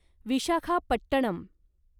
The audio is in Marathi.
विशाखापट्टणम